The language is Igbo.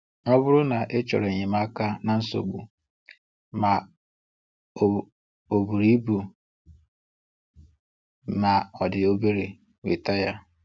Ọ bụrụ na ịchọrọ enyemaka na nsogbu, ma o o buru ibu ma odi obere, nweta ya.